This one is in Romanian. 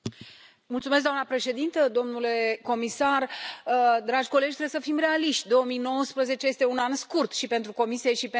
Doamna președintă, domnule comisar, dragi colegi, trebuie să fim realiști 2019 este un an scurt și pentru Comisie și pentru noi.